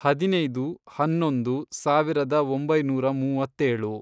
ಹದಿನೈದು, ಹನ್ನೊಂದು, ಸಾವಿರದ ಒಂಬೈನೂರ ಮೂವತ್ತೇಳು